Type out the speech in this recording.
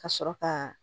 Ka sɔrɔ ka